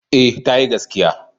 Eh tayi gaskiya.